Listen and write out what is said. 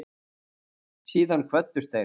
Síðan kvöddust þeir.